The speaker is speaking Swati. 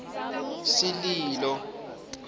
sililo